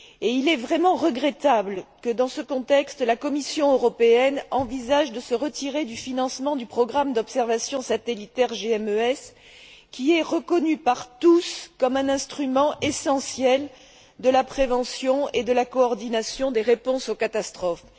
Il est vraiment regrettable que, dans ce contexte, la Commission européenne envisage de se retirer du financement du programme d'observation satellitaire GMES, qui est reconnu par tous comme un instrument essentiel de la prévention et de la coordination des réponses aux catastrophes.